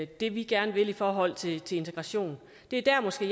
det vi gerne vil i forhold til integration det er måske